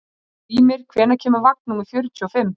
Skrýmir, hvenær kemur vagn númer fjörutíu og fimm?